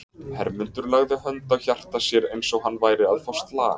Hermundur lagði hönd á hjarta sér eins og hann væri að fá slag.